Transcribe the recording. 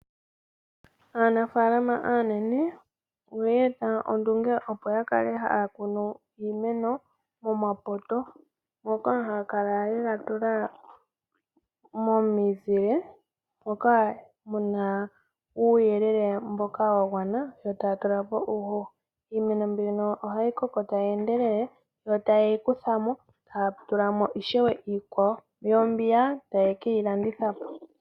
Aanafaalama aanene oyeeta ondunge opo yakale haya kunu iimeno momapoto ngoka haya kala yega tula momizile moka muna uuyelele mboka wagwana yo taya tulapo uuhoho. Iimeno mbino ohayi koko tayi endelele yo tayeyi kutha mo taatulamo ishewe iikwawo, yo mbiya taye keyilandithapo.